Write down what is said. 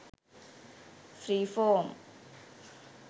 free form